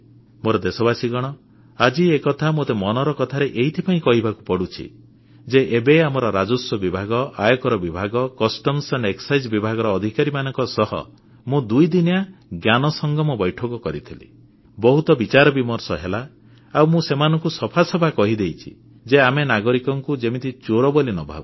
ମୋର ଦେଶବାସୀ ଆଜି ଏକଥା ମୋତେ ମନ କି ବାତରେ ଏଇଥିପାଇଁ କହିବାକୁ ପଡ଼ୁଛି ଯେ ଏବେ ଆମର ରାଜସ୍ୱ ବିଭାଗ ଆୟକର ବିଭାଗ ବହିର୍ବାଣିଜ୍ୟ ଓ ସୀମାଶୁଳ୍କ ବିଭାଗର ଅଧିକାରୀମାନଙ୍କ ସହ ମୁଁ ଦୁଇଦିନିଆ ଜ୍ଞାନ ସଂଗମ ବୈଠକ କରିଥିଲି ବହୁତ ବିଚାରବିମର୍ଷ ହେଲା ଆଉ ମୁଁ ସେମାନଙ୍କୁ ସଫା ସଫା କହିଦେଇଛି ଯେ ଆମେ ନାଗରିକଙ୍କୁ ଯେମିତି ଚୋର ବୋଲି ନ ଭାବୁ